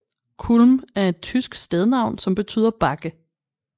Kulm er et tysk stednavn som betyder bakke